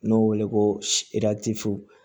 N'o weele ko